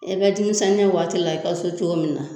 E be dimisɛnniya waati la e ka so cogo min na